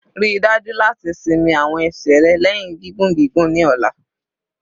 Rii daju lati sinmi awọn ẹsẹ rẹ lẹhin gigun gigun ni ọla